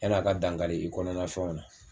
Yan'a ka dankari i kɔnɔna fɛnw na